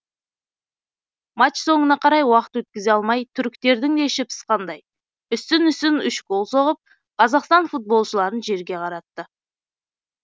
матч соңына қарай уақыт өткізе алмай түріктердің де іші пысқандай үстін үстін үш гол соғып қазақстан футболшыларын жерге қаратты